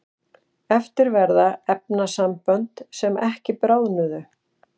eftir verða efnasambönd sem ekki bráðnuðu